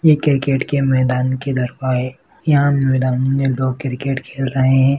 ये क्रिकेट के मैदान की दरख्वा हैं यहाँ मैदानों में वो क्रिकेट खेल रहे हैं।